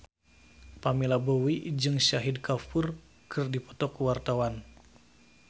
Pamela Bowie jeung Shahid Kapoor keur dipoto ku wartawan